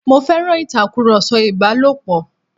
Mo féràn ìtakùrọ̀sọ ìbálòpọ̀.